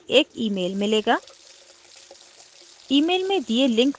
irctc से एक email मिलेगा